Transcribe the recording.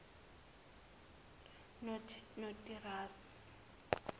notirase